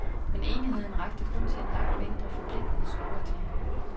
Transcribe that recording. Men enigheden rakte kun til en langt mindre forpligtende skoverklæring.